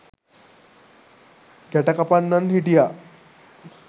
ගැටකපන්නන් හිටියා.